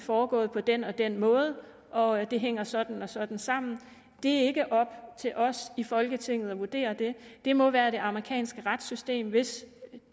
foregået på den og den måde og at det hænger sådan og sådan sammen det er ikke op til os i folketinget at vurdere det det må være det amerikanske retssystem hvis